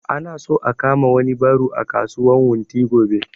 Ana so a kama wani ɓaro a kasuwan wunti gobe